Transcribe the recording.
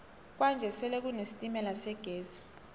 kwanje sele kune sitemala segezi